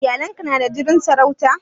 Iyalan ka na da jinin sarauta?